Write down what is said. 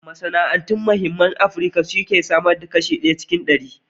Masana'antu muhimmin masana'antu ne a Afirka wanda ke samar da ayyukan yi ga sama da kashi goma cikin ɗari.